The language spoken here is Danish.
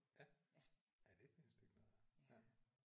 Ja. Ja det er et pænt stykke nede ja